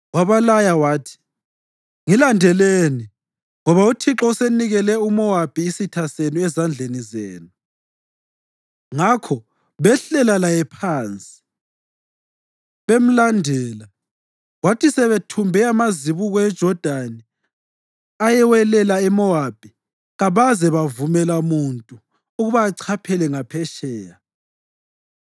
Wabalaya wathi, “Ngilandelani, ngoba uThixo usenikele uMowabi, isitha senu, ezandleni zenu.” Ngakho behlela laye phansi bemlandela, kwathi sebethumbe amazibuko eJodani ayewelela eMowabi, kabaze bavumela muntu ukuba achaphele ngaphetsheya.